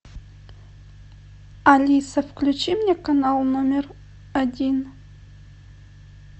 алиса включи мне канал номер один